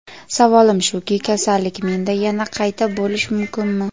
Savolim shuki, kasallik menda yana qayta bo‘lishi mumkinmi?